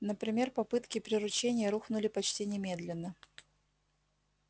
например попытки приручения рухнули почти немедленно